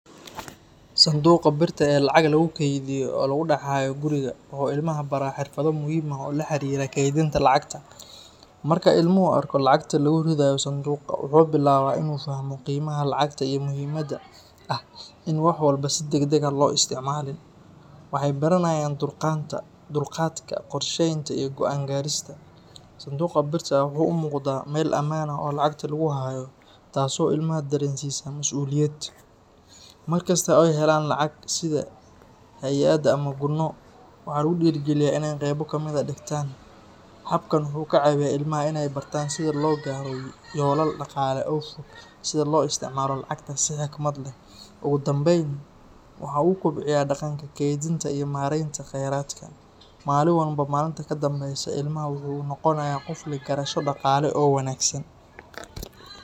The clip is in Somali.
Sanduuqa birta ah ee lacag lagu kaydiyo oo lagu dhex hayo guriga waxa uu ilmaha baraa xirfado muhiim ah oo la xiriira kaydinta lacagta. Marka ilmuhu arko lacagta lagu ridayo sanduuqa, waxa uu bilaabaa in uu fahmo qiimaha lacagta iyo muhiimadda ah in aan wax walba si degdeg ah loo isticmaalin. Waxay baranayaan dulqaadka, qorsheynta, iyo go'aan gaarista. Sanduuqa birta ah wuxuu u muuqdaa meel ammaan ah oo lacagta lagu hayo, taasoo ilmaha dareensiisa mas'uuliyad. Mar kasta oo ay helaan lacag, sida hadyad ama gunno, waxaa lagu dhiirrigeliyaa in ay qaybo ka mid ah dhigtaan. Habkan waxa uu ka caawiyaa ilmaha in ay bartaan sida loo gaadho yoolal dhaqaale oo fog iyo sida loo isticmaalo lacagta si xikmad leh. Ugu dambayn, waxa uu kobciyaa dhaqanka kaydinta iyo maaraynta kheyraadka. Maalinba maalinta ka dambaysa, ilmaha waxa uu noqonayaa qof leh garasho dhaqaale oo wanaagsan